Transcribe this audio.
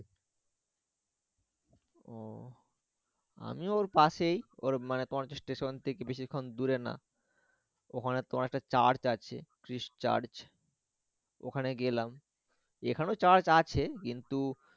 ও আমি ওর পাশেই ওর মানেই পঞ্চ স্টেশন থেকে বেশিক্ষণ দূরে না ওখানে তোমার একটা Church আছে ক্রিস চার্চ । ওখানে গেলাম এখানেও Church আছে কিন্তু